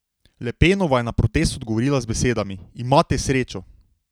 Le Penova je na protest odgovorila z besedami: "Imate srečo.